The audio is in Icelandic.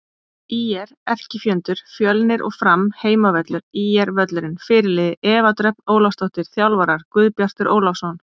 ÍR: Erkifjendur: Fjölnir og Fram Heimavöllur: ÍR-völlurinn Fyrirliði: Eva Dröfn Ólafsdóttir Þjálfarar: Guðbjartur Ólafsson